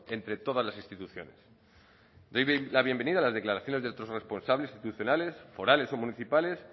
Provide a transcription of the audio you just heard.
entre todas las instituciones doy la bienvenida a las declaraciones de otros responsables institucionales forales o municipales